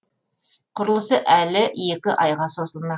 құрылыс әлі екі айға созылмақ